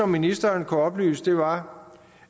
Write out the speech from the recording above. ministeren kunne oplyse var